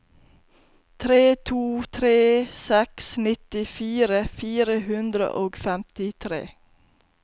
tre to tre seks nittifire fire hundre og femtitre